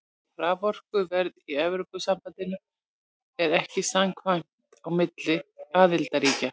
Raforkuverð í Evrópusambandinu er ekki samræmt á milli aðildarríkja.